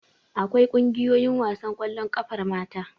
Akwai ƙungiyoyin wasan ƙwallon ƙafar mata.